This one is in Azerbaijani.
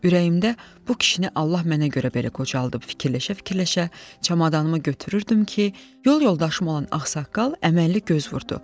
Ürəyimdə bu kişini Allah mənə görə belə qocaldıb, fikirləşə-fikirləşə çamadanımı götürürdüm ki, yol yoldaşım olan ağsaqqal əməlli göz vurdu.